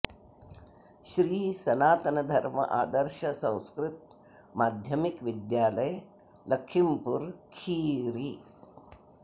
Shri Sanatan Dharma Adarsh Sanskrit Madhyamik Vidyalaya Lakhimpur Kheri